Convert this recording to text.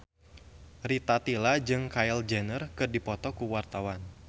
Rita Tila jeung Kylie Jenner keur dipoto ku wartawan